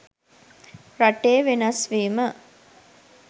රටේ වෙනස් වීම